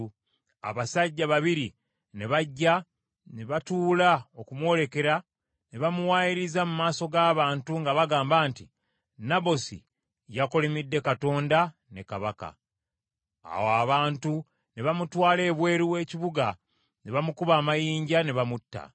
Abasajja babiri ne bajja ne batuula okumwolekera ne bamuwaayiriza mu maaso g’abantu nga bagamba nti, “Nabosi yakolimidde Katonda ne kabaka.” Awo abantu ne bamutwala ebweru w’ekibuga ne bamukuba amayinja ne bamutta.